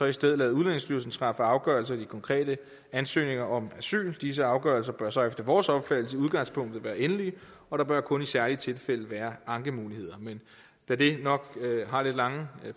i stedet lade udlændingestyrelsen træffe afgørelser i de konkrete ansøgninger om asyl disse afgørelser bør så efter vores opfattelse i udgangspunktet være endelige og der bør kun i særlige tilfælde være ankemuligheder men da det nok har lidt lange